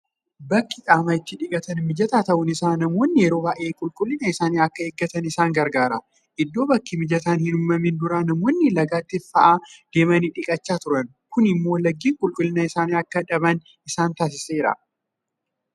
Bakki qaama itti dhiqatan mijataa ta'uun isaa namoonni yeroo baay'ee qulqullina isaanii akka eeggatan isaan gargaara. Itoo bakki mijataan hinuumamin dura namoonni lagatti fa'aa deemanii dhiqachaa turan. Kun immoo laggeen qulqullina isaanii akka dhaban isaan taasiseera.